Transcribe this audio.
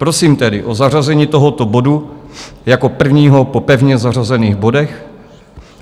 Prosím tedy o zařazení tohoto bodu jako prvního po pevně zařazených bodech.